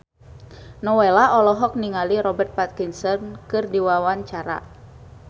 Nowela olohok ningali Robert Pattinson keur diwawancara